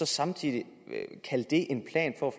samtidig kalde det en plan for